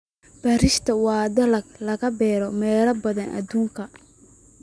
Bariishta waa dalag laga beero meelo badan oo adduunka.